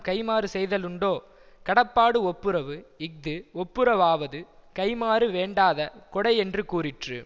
கைம்மாறு செய்தலுண்டோ கடப்பாடு ஒப்புரவு இஃது ஒப்புரவாவது கைம்மாறு வேண்டாத கொடை யென்று கூறிற்று